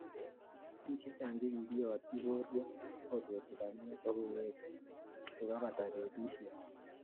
Bik chechang chekikiyotchi borwek kobeti banyek ak kowek kokebata betusiek